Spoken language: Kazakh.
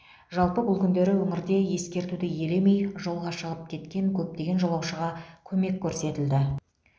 жалпы бұл күндері өңірде ескертуді елемей жолға шығып кеткен көптеген жолаушыға көмек көрсетілді